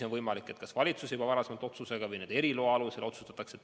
On võimalik, et valitsus juba varasema otsusega seda lubab või annab eriloa.